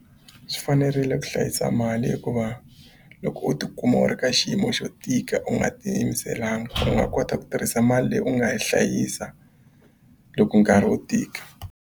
Swi fanerile ku hlayisa mali hikuva loko u tikuma u ri ka xiyimo xo tika u nga tiyimiselanga u nga kota ku tirhisa mali leyi u nga yi hlayisa loko nkarhi wu tika.